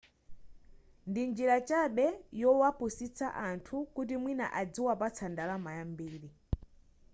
ndi njira chabe yowapusitsa anthu kuti mwina adziwapatsa ndalama yambiri